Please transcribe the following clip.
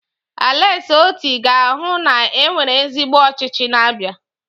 Aleksi Oti ga-ahụ na e nwere ezigbo ọchịchị n'Abia.